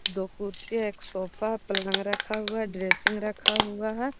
दो कुर्सी है एक सोफा पलंग रखा हुआ है ड्रेसिंग रखा हुआ है।